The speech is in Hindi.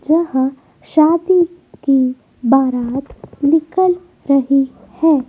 जहां शादी की बारात निकल रही है।